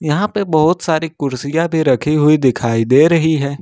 यहां पे बहुत सारी कुर्सियां भी रखी हुई दिखाई दे रही हैं।